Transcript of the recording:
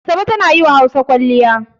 Asabe tana yi wa Hausa kwalliya.